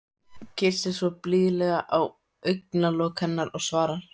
Kyssir svo blíðlega á augnalok hennar og svarar: